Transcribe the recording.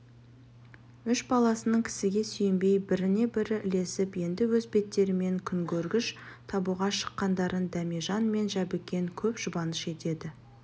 үш баласының кісіге сүйенбей біріне-бірі ілесіп енді өз беттерімен күнкөргіш табуға шыққандарын дәмежан мен жәбікен көп жұбаныш етеді